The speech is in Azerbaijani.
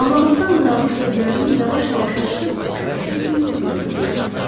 Ağlamaqdan qızarmış gözlərini yavaş-yavaş açdı, başa düşdü ki, yuxu görürmüş.